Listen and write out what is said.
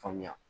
Faamuya